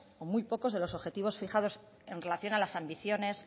o muy pocos de los objetivos fijados en relación a las ambiciones